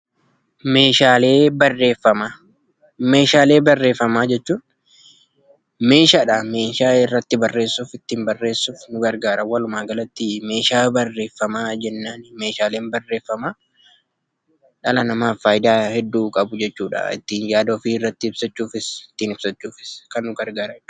Meeshaalee barreeffamaa jechuun meeshaadha, meeshaa irratti barreessuu fi ittiin barreessuuf nu gargaara. Walumaagalatti, meeshaa barreeffamaa jenna. Meeshaaleen barreeffamaa dhala namaaf faayidaa hedduu qabu jechuudha. Ittiin yaada ofii irratti ibsachuufis ittiin ibsachuufis kan nu gargaaranidha.